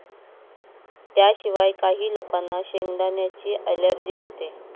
त्याशिवाय, काही लोकांना शेंगदाण्यांची अलर्जी असते.